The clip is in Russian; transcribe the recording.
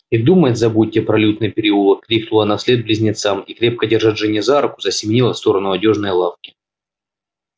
и думать забудьте про лютный переулок крикнула она вслед близнецам и крепко держа джинни за руку засеменила в сторону одёжной лавки